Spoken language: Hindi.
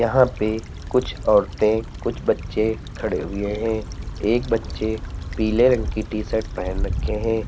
यहां पे कुछ औरतें कुछ बच्चे खड़े हुए हैं एक बच्चे पीले रंग की टीशर्ट पहन रखे हैं।